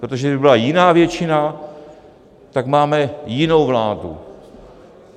Protože kdyby byla jiná většina, tak máme jinou vládu.